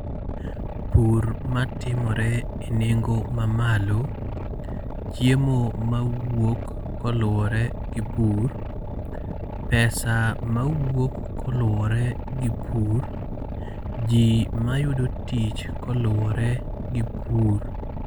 Pur matimore e nengo mamalo. Chiemo ma wuok koluwore gi pur. pesa mawuok koluwore gi pur. Ji mayudo tich koluwore gi pur.